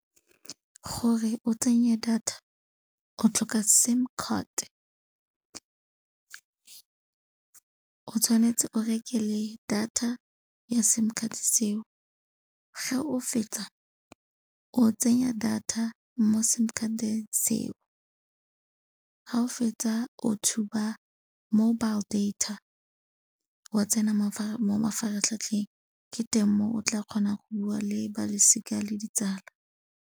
Gore o tsenye data o tlhoka sim card. O tshwanetse o reke le data ya sim card-e seo. Ga o fetsa o tsenya data mo sim card-eng seo, ga o fetsa o tshuba mobile data wa tsena mo mafaratlhatlheng. Ke teng mo o tla kgonang go bua le ba losika le ditsala.